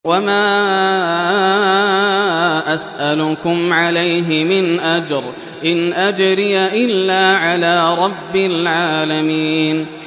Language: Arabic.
وَمَا أَسْأَلُكُمْ عَلَيْهِ مِنْ أَجْرٍ ۖ إِنْ أَجْرِيَ إِلَّا عَلَىٰ رَبِّ الْعَالَمِينَ